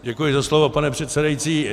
Děkuji za slovo, pane předsedající.